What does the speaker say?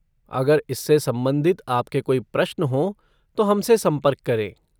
अगर इससे संबंधित आपके कोई प्रश्न हों तो हमसे संपर्क करें।